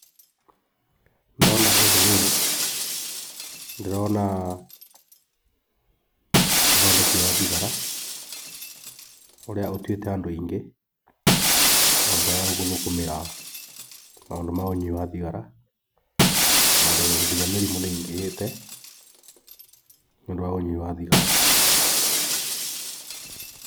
Ndona ũndũ ũyũ ndĩrona ũthondeki wa thigara, ũrĩa ũtuĩte andũ aingĩ mathiyaga guthũkũmĩra maũndũ ma ũyui wa thigara tondũ nginya mĩrimũ nĩĩingĩhĩte nĩũndũ wa ũnyui wa thigara.